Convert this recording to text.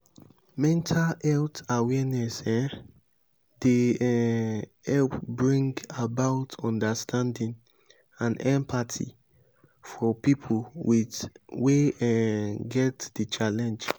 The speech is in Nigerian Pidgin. mental health awareness um dey um help bring about understanding and empathy for pipo with wey um get di challenge